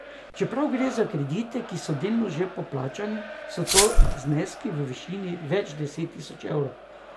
Čeprav gre za kredite, ki so delno že poplačani, so to zneski v višini več deset tisoč evrov.